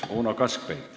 Uno Kaskpeit.